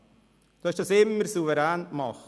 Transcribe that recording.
Sie haben dies immer souverän gemacht.